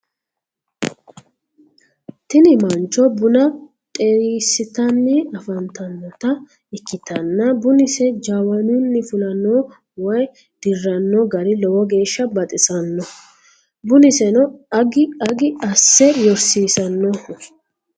tini mancho buna dhersitanni afantanota ikitanna bunise jawanunni fulanno woye dirranno gari lowo geesha baxisanno bunisenno agi agi asse yorsiisannoho.